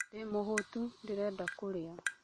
Ndĩmũhũtu, ndĩrenda kũrĩa